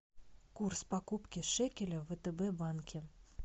курс покупки шекеля в втб банке